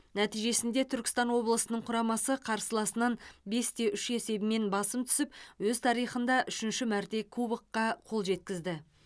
нәтижесінде түркістан облысының құрамасы қарсыласынан бес те үш есебімен басым түсіп өз тарихында үшінші мәрте кубокқа қол жеткізді